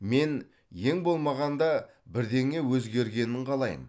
мен ең болмағанда бірдеңе өзгергенін қалаймын